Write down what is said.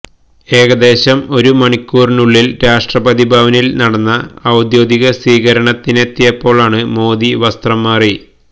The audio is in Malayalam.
ഏകദേശം ഒരു മണിക്കൂറിനുള്ളില് രാഷ്ട്രപതി ഭവനില് നടന്ന ഔദ്യോഗിക സ്വീകരണത്തിനെത്തിയപ്പോള് മോദി വസ്ത്രം മാറി